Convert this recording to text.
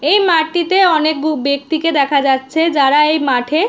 এই মাঠটিতে অনেক ব ব্যাক্তিকে দেখা যাচ্ছে যারা এই মাঠে--